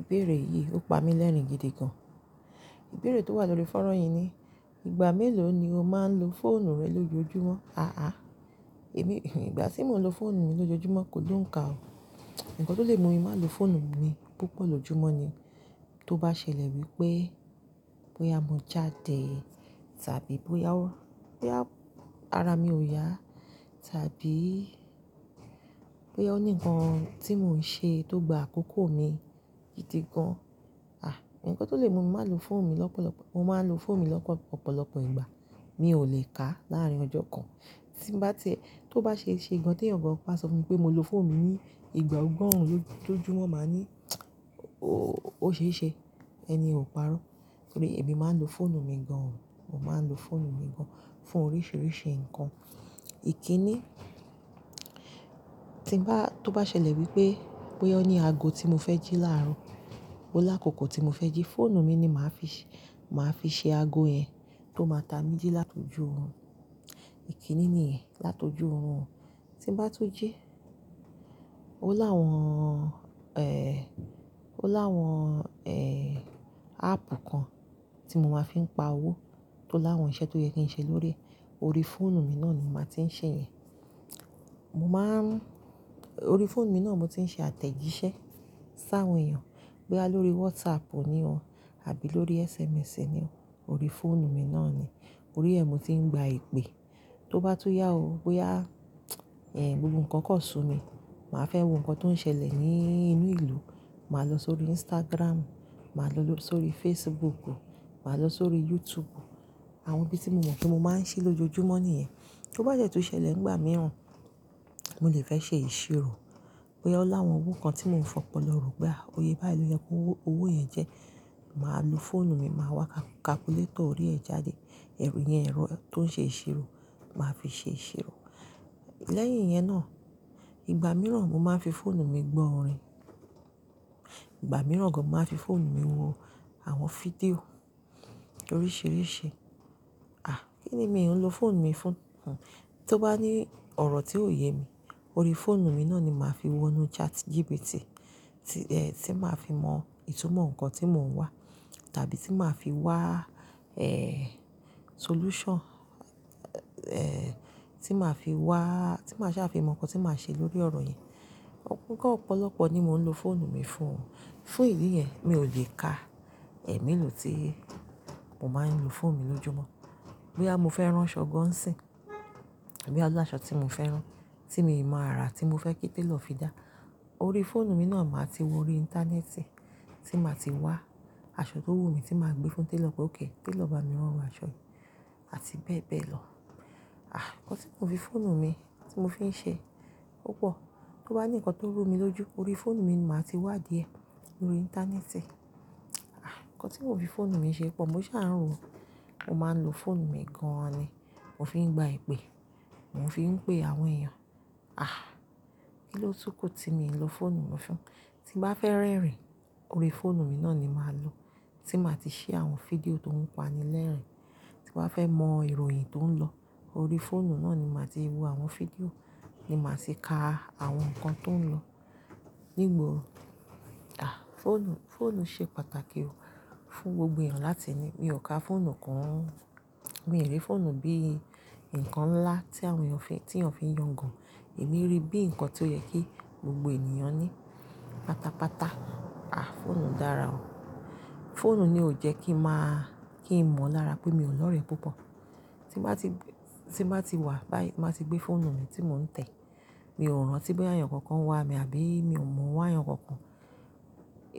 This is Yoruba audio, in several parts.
Ìbéèrè yìí ó pa mí lẹ́rìn-gidi gan. Ìbéèrè tó wà lórí fọ́rọ̀ yìí ni, "Ìgbà mélòó ni o máa ń lo fóònù rẹ lójoojúmọ́?" èmi, ìgbà tí mo ń lo fóònù mi lójoojúmọ́ kò loùn ká o. Ǹkan tó lè mú mi má lo fóònù mi púpọ̀ lójúmọ́ ni, tó bá ṣẹlẹ̀ wípé, bóyá mo jáde, tàbí bóyá ara mi ò yá, tàbí bóyá ó ní ǹkan tí mò ń ṣe tó gba àkókò mi gidi gan. Ǹkan tó lè mú mi má lo fóònù mi lọ́pọ̀lọ́pọ̀, mo máa ń lo fóònù mi lọ̀pọ̀lọpọ̀ ìgbà. Mi ò lè ká láàárín ọjọ́ kan. Tí bá tie, tó bá ṣeṣe gan tí ẹ̀yàn kan bá sọ fún mi pé mo lo fóònù mi ní ìgbà ọgọ́rùn lójoojúmọ́, máa ní, "Oó, ó ṣe é ṣe. Ẹni ye ò parọ́." Torí èmi máa ń lo fóònù mi gan. Mo máa ń lo fóònù mi gan fún oríṣiríṣi nǹkan. Iki ni, tí n bá, tó bá ṣẹlẹ̀ wípé, bóyá ó ní ago tí mo fẹ́ jí láàárọ̀, ó lákòókò tí mo fẹ́ jí, fóònù mi ni màá fi ṣe, màá fi ṣe ago yẹn tó máa ta mí jí láti ojú ohun. Iki ni níyẹn, láto ojú orun tí ń bá tú jí. Ó láwọn, ó láwọn, áàpù kan tí mo máa ń fi pa owó, tó láwọn iṣẹ́ tó yẹ kí n ṣe lóríi e, orí fóònù mi náà ni mo màá ti ń ṣe yẹ̀. Mo máa ń, orí fóònù mi náà ni mo ti ń ṣe àtẹ̀jíṣẹ́ sáwọn èèyàn. Bóyá lórí WhatsApp ni ó, àbí lórí SMS ni ó, orí fóònù mi náà ni. Orí ẹ̀ mo ti ń gba ìpè. Tó bá tú yá o, bóyá, ẹ́ẹ́, gbogbo ǹkan kan sun mi, màá fẹ́ wo nǹkan tó ń ṣẹlẹ̀ ní inú ìlú, màá lọ sórí Instagram, màá lọ sórí Facebook, màá lọ sórí YouTube. Àwọn ibi tí mo mọ̀ pé mo máa ń sí lójoojúmọ́ nìyẹn. Tó bá dẹ́ tú ṣẹlẹ̀ nígbà mìíràn, mo lè fẹ́ ṣe ìṣirò, bóyá ó láwọn owó kan tí mò ń fi ọ̀pọ̀lọpọ̀, pé à, iye báyìí ló yẹ kí owó yẹn jẹ́. Màá lo fóònù mi, màá wá kalkulétọ̀ orí ẹ jáde. Ẹ̀rù yẹn ẹ̀rọ tó ń ṣe ìṣirò, màá fi ṣe ìṣirò. Lẹ́yìn yẹn náà, ìgbà mìíràn mo máa ń fi fóònù mi gbọ́ orin. Ìgbà mìíràn gan mo máa ń fi fóònù mi wo àwọn fídíò oríṣiríṣi. À, kí ni mi ò ń lo fóònù mi fún? Tó bá ní ọ̀rọ̀ tí ò yé mi, orí fóònù mi náà ni màá fi wọnú ChatGPT, tí, tí màá fi mọ ìtumọ̀ nǹkan tí mò ń wá, tàbí tí màá fi wá solution, tí màá fi wá, tí màá ṣà fi mọ nǹkan tí màá ṣe lórí ọ̀rọ̀ yì. Ǹkan ọ̀pọ̀lọpọ̀ ni mò ń lo fóònù mi fún. Fún ìdí yẹn, mi ò lè ka ẹ̀me lò tí mò máa ń lo fóònù mi lójoojúmọ́. Bóyá mo fẹ́ rán aṣọ gan sí, bóyá ó láṣọ tí mo fẹ́ rán, tí mi máa arà, tí mo fẹ́ kí télọ̀ fi dá, orí fóònù mi náà màá ti wo orí íńtánẹ́ẹ̀tì tí màá ti wá aṣọ tó wù mí tí màá gbé fún télọ̀ pé ókay, télọ̀ bá mi rán aṣọ yìí, àti bẹ́ẹ̀ bẹ́ẹ̀ lọ. Ǹkan tí mò ń fi fóònù mi, tí mò fi ń ṣe púpọ̀. Tó bá ní ǹkan tó rú mi lójú, orí fóònù mi ni màá ti wá díẹ̀ lórí íńtánẹ́ẹ̀tì. Nkan ti mo fi phonu mi ṣe pọ̀, mo má ń lo phonu mi gan ni mp fi ńgba ìpè mo fi ńpe àwọn ẹ̀yàn à, kí ló tún kù tí mi ń lo fóònù mi fún? Tí n bá fẹ́ rẹ́rìn, orí fóònù mi náà ni màá lò. Tí n bàá ti ṣí àwọn fídíò tó ń pani lẹ́rìn-ín, tí. Bàá fẹ́ mọ ìròyìn tó ń lọ, orí fóònù náà ni màá ti wo àwọn fídíò, ni màá ti ka àwọn nǹkan tó ń lọ nígbà o. À, fóònù, fóònù ṣe pàtàkì o fún gbogbo èèyàn láti ní. Mi ò ka fóònù kun mii rí fóònù bí i ǹkan ńlá tí àwọn èèyàn fi, tí èèyàn fi ń yangàn. Èmi ríi bí i ǹkan tó yẹ kí gbogbo ènìyàn ní pátápátá. À, fóònù dára o. Fóònù ni ò jẹ́ kí n máa, kí n mọ lára pé mi ò lọ́rẹ́ púpọ̀. Tí n bàá ti, tí n bàá ti wá báyìí, tí n bàá ti gbé fóònù mi tí mò ń tẹ̀, mi ò rántí bóyá èèyàn kankan wá mi àbí mi ò mọ̀ ń wá èèyàn kankan.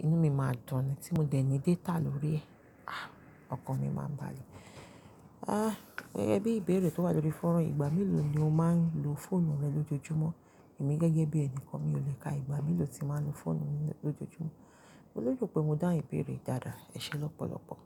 Inú mi máa dùn, tí mo dẹ̀ ní data lórí ẹ̀. À, ọkàn mi máa balẹ̀. À, gẹ́gẹ́ bí ìbéèrè tó wà lórí fọ́ran yìí, "Ìgbà mélòó ni o máa ń lo fóònù rẹ lójoojúmọ́?" Èmi gẹ́gẹ́ bí ẹni kan, mi ò lè ka ìgbà mélòó tí màá ń lo fóònù mi lójoojúmọ́. Mo lérò pé mo dáhun ìbéèrè yoli dáadáa. Ẹ̀ṣẹ̀ lọ́pọ̀lọpọ̀.